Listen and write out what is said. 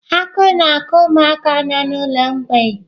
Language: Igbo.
Agụụ na-agụ ụmụaka nọ n'ụlọ mgbei.